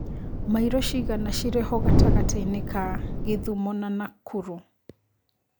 maĩro cigana cirĩ ho gatagatiinĩ ga Kisumu na Nakuru